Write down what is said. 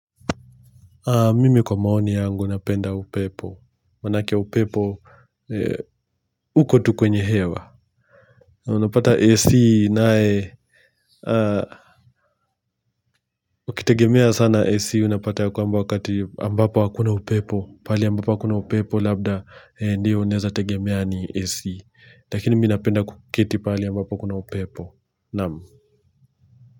Mimi kwa maoni yangu napenda upepo. Manake upepo, uko tu kwenye hewa. Unapata AC nae. Ukitegemea sana AC unapata ya kwamba wakati ambapo wakuna upepo. Pali ambapo akuna upepo labda ndio neza tegemea ni AC. Lakini mi napenda kuketi pale ambapo kuna upepo. Namu.